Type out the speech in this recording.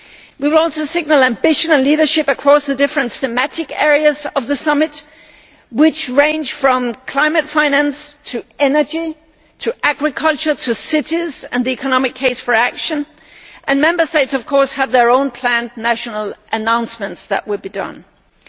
We want a single ambition and leadership across the different thematic areas of the Summit, which range from climate finance to energy, to agriculture, to cities and the economic case for action. And Member States of course have their own planned national announcements that will be made.